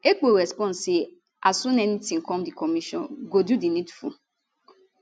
ekpo respond say as soon anytin come di commission go do di needful